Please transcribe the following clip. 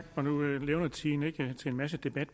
sammenligning